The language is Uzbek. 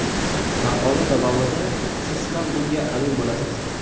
Maqola davomida siz ham bunga amin bo‘lasiz.